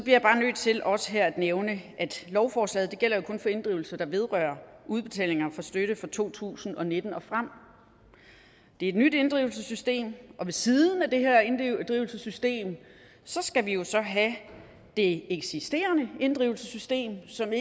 jeg bare nødt til også her at nævne at lovforslaget jo kun gælder for inddrivelser der vedrører udbetalinger af støtte fra to tusind og nitten og frem det er et nyt inddrivelsessystem og ved siden af det her inddrivelsessystem skal vi jo så have det eksisterende inddrivelsessystem som